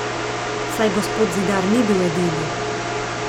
Saj gospod Zidar ni bil edini.